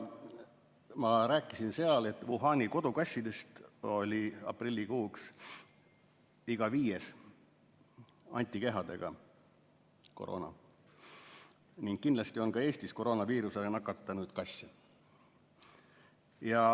Ma rääkisin seal veel, et Wuhani kodukassidest oli aprillikuuks iga viies antikehadega ning kindlasti on ka Eestis koroonaviirusega nakatunud kasse.